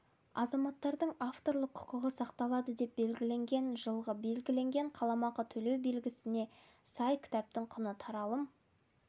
азаматтардың авторлық құқығы сақталады деп белгіленген жылғы белгіленген қаламақы төлеу белгілемесіне сай кітаптың құны таралым